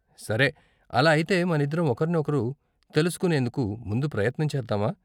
సరే, అలా అయితే మనిద్దరం ఒకరిని ఒకరు తెలుసుకునేందుకు ముందు ప్రయత్నం చేద్దామా?